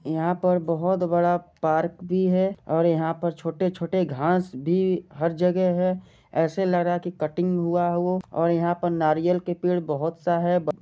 यहाँ पर बहुत बड़ा पार्क भी है और यहाँ पर छोटे-छोटे घास भी हर जगह है ऐसे लग रहा है कटिंग हुआ हो और यहाँ पे नारियल के पेड़ बहुत सा है --